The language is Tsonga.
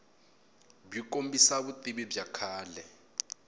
byi kombisa vutivi bya kahle